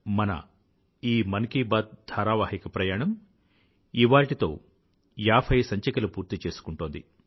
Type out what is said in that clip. మన ఈ మన్ కీ బాత్ ధారావాహిక ప్రయాణం ఇవాళ్టితో ఏభై సంచికలు పూర్తి చేసుకుంటోంది